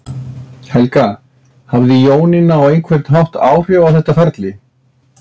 Helga: Hafði Jónína á einhvern hátt áhrif á þetta ferli?